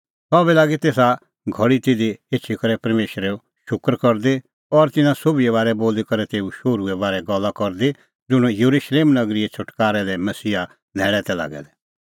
सह बी लागी तेसा घल़ी तिधी एछी करै परमेशरे शूकर करदी और तिन्नां सोभिए बारै बोली करै तेऊ शोहरूए बारै गल्ला करदी ज़ुंण येरुशलेम नगरीए छ़ुटकारै लै मसीहा न्हैल़ै तै लागै दै